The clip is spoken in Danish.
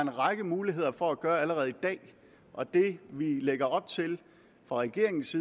en række muligheder for at gøre allerede i dag og det vi lægger op til fra regeringens